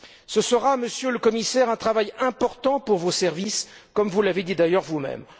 Ce sera, Monsieur le Commissaire, un travail important pour vos services, comme vous l'avez dit d'ailleurs vous même.